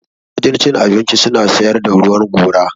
A wajen cin abinci suna siyar da ruwan gora.